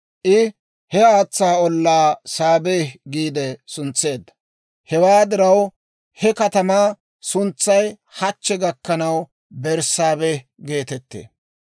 I he haatsaa ollaa Saabehi giide suntseedda; hewaa diraw he katamaa suntsay hachche gakkanaw Berssaabehi geetettee.